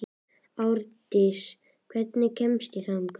Árdís, hvernig kemst ég þangað?